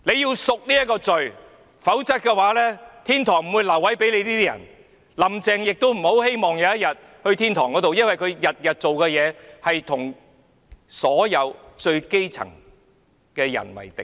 他們要贖罪，否則天堂不會留位給他們，"林鄭"亦不要希望有天會上天堂，因為她天天做的事是與所有最基層的人為敵。